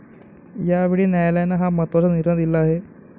यावेळी न्यायालयानं हा महत्वाचा निर्णय दिला आहे.